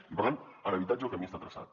i per tant en habitatge el camí està traçat